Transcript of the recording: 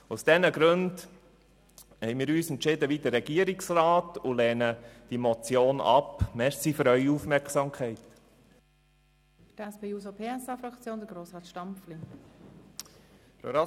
Aus diesen Gründen haben wir uns wie der Regierungsrat entschieden und lehnen die Motion ab.